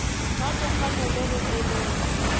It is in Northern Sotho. ka dikgano le go eletša